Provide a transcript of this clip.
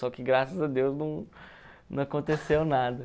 Só que graças a Deus não não aconteceu nada.